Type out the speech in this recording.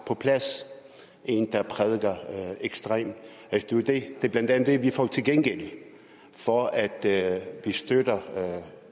på plads en der prædiker ekstremt det er blandt andet det vi får til gengæld for at at vi støtter